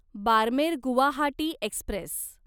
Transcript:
Barmer Guwahati Express